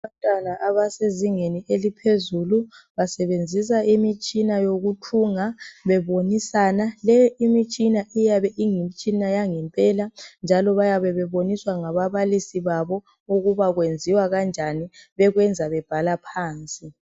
Abantwana abasezingeni eliphezulu basebenzisa imitshina yokuthunga bebonisana le imitshina iyabe iyimtshina yangempela njalo bayabe beboniswa ngababalisi babo ukuba kwenziwa kanjani bekwenza bebhala phansi.